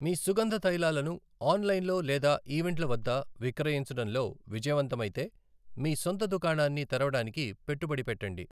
మీ సుగంధ తైలాలను ఆన్లైన్లో లేదా ఈవెంట్ల వద్ద విక్రయించడంలో విజయవంతమైతే, మీ సొంత దుకాణాన్ని తెరవడానికి పెట్టుబడి పెట్టండి.